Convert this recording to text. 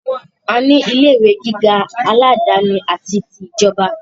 A ní ilé ìwé gíga aládàáni àti ti ìjọba.